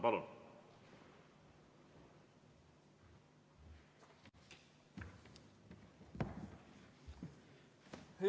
Palun!